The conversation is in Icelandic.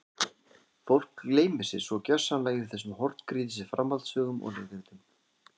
Fólk gleymir sér svo gersamlega yfir þessum horngrýtis framhaldssögum og leikritum.